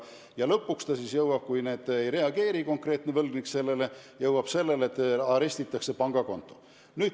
Kui konkreetne võlgnik ka sellele ei reageeri, siis jõuab asi selleni, et arestitakse pangakonto.